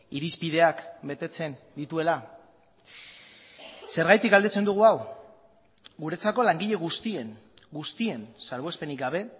irizpideak betetzen dituela zergatik galdetzen dugu hau guretzako langile guztien guztien salbuespenik gabe